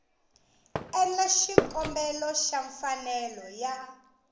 endla xikombelo xa mfanelo ya